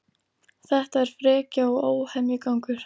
Þetta er frekja og óhemjugangur